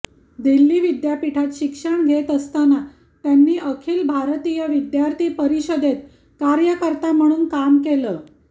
दिल्ली विद्यापीठात शिक्षण घेत असताना त्यांनी अखिल भारतीय विद्यार्थी परिषदेत कार्यकर्ता म्हणून काम केलं